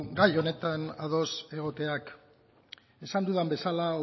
gai honetan ados egoteak esan dudan bezala